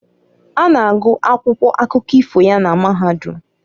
A na-agụ akwụkwọ akụkọ ifo ya na mahadum.